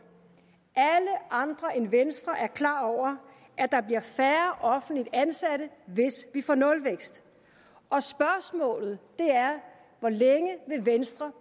alle andre end venstre er klar over at der bliver færre offentligt ansatte hvis vi får nulvækst og spørgsmålet er hvor længe venstre